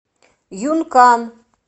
юнкан